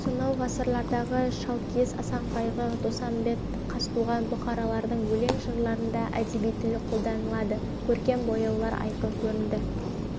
сонау ғасырлардағы шалкиіз асанқайғы доспанбет қазтуған бұхарлардың өлең-жырларында әдеби тіл қолданылады көркемдік бояулар айқын көрінді